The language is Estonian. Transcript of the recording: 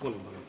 palun!